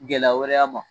Gɛlɛya wɛrɛ a ma